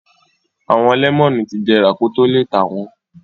Àwọn lẹ́mọ́nù ti jẹrà kó tó le tà wọ́n.